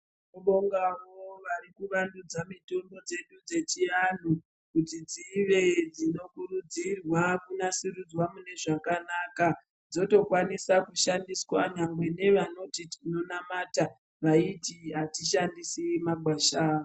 Tinobongavo varikuvandudza mitombo dzedu dzechivantu kuti dzive dzinokurudzirwa kunasurudzwa mune zvakanaka. Dzotokwaniswa kushandiswa nyangwe nevanoti tinonamata vaiti hatishandisi magwasha.